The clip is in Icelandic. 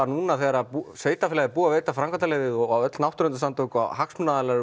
núna þegar sveitafélagið er búið að veita framkvæmdaleyfi og náttúruverndarsamtök og hagsmunaaðilar